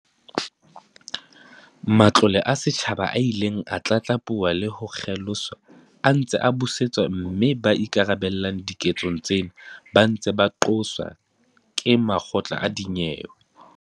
Matlole a setjhaba a ileng a tlatlapuwa le ho kgeloswa a ntse a busetswa mme ba ikarabellang diketsong tsena ba ntse ba qoswa ke makgotla a dinyewe.